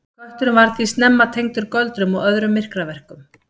Kötturinn var því snemma tengdur göldrum og öðrum myrkraverkum.